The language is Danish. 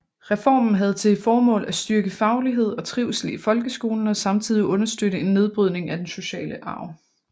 Reformen havde til formål at styrke faglighed og trivsel i folkeskolen og samtidig understøtte en nedbrydning af den sociale arv